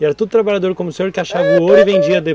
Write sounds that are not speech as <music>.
E era tudo trabalhador como o senhor <unintelligible> que achava o ouro e vendia <unintelligible>